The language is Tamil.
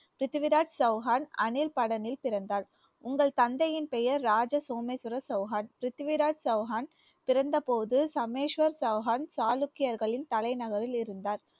பிரித்திவிராஜ் சௌஹான் அணில் படனில் பிறந்தார் உங்கள் தந்தையின் பெயர் ராஜ சோமேஸ்வர சௌஹான் பிரிதிவிராஜ் சௌஹான் பிறந்தபோது சமேஸ்வர் சௌஹான் சாளுக்கியர்களின் தலைநகரில் இருந்தார்